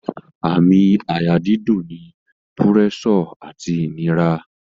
Àmì àyà dídùn ni púrẹ́sọ̀ àti ìnira